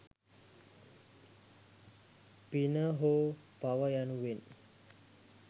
පින හෝ පව යනුවෙන්